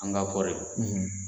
An ka kɔɔri